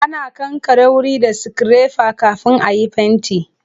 Ana kankare wuri da sikirefa kafin a yi fenti.